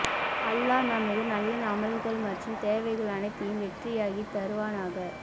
அல்லாஹ் நமது நல்ல அமல்கள் மற்றும் தேவைகள் அனைத்தையும் வெற்றியாகி தருவானாக